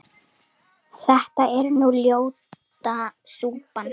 þetta er nú ljóta súpan